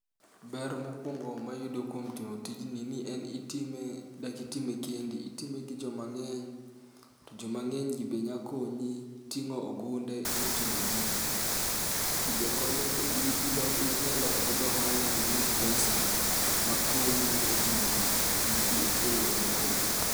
Ber mokwongo mayudo kuom timo tijni ni en itime, dak itime kendi. Itime gi joma ng'eny., to joma ng'eny gi be nya konyi ting'o ogunde moting'o gigi. Gigi be konyo ni inyaloko go ohala iyud [pesa, ma konyi e timo giki e yore mopogre.